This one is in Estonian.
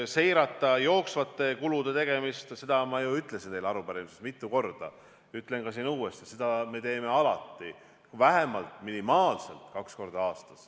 Seirata jooksvate kulude tegemist – ma ju ütlesin teile arupärimises mitu korda ja ütlen uuesti, seda me teeme alati, vähemalt kaks korda aastas.